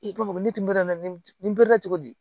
I b'a fɔ ne tun be na ne la cogo di